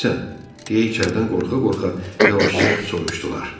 Deyə içəridən qorxa-qorxa yavaşca soruşdular.